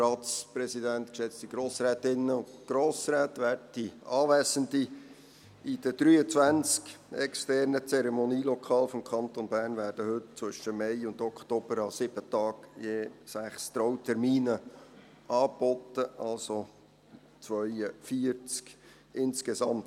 In den 23 externen Zeremonielokalen des Kantons Bern werden heute zwischen Mai und Oktober an 7 Tagen je 6 Trautermine angeboten, also 42 insgesamt.